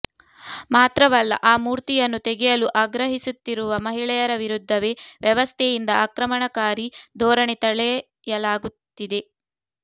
ಮಾತ್ರವಲ್ಲ ಆ ಮೂರ್ತಿಯನ್ನು ತೆಗೆಯಲು ಆಗ್ರಹಿಸುತ್ತಿರುವ ಮಹಿಳೆಯರ ವಿರುದ್ಧವೇ ವ್ಯವಸ್ಥೆಯಿಂದ ಆಕ್ರಮಣಕಾರಿ ಧೋರಣೆ ತಳೆಯಲಾಗುತ್ತಿದೆ